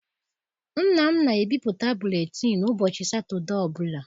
Nna m na ebipụta buletịịnụ ụbọchị satọdee ọbụla.